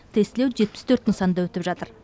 тестілеу жетпіс төрт нысанда өтіп жатыр